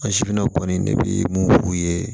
kɔni ne bɛ mun f'u ye